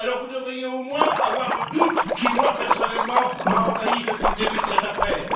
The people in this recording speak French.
Alors, vous devriez au moins avoir le doute qui, moi personnellement, m'a envahi depuis le début de cette affaire!